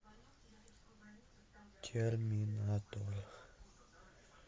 терминатор